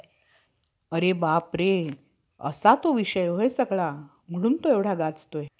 आता त्यास रांडया-राखोबा म्हणावे तर, त्याने सरस्वति नावाच्या कन्येशी विवि~ अं वैभिचार केला. व त्यामुळे त्याचे आडनाव बेटीचो~ बेटीचोद,